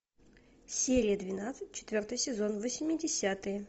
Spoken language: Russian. серия двенадцать четвертый сезон восьмидесятые